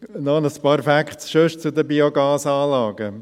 Noch ein paar andere Facts zu den Biogasanlagen: